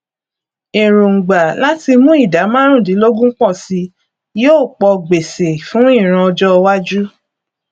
èròngbà láti mú ìdá márùndínlógún pọ si yóò pọ gbèsè fún ìran ọjówájú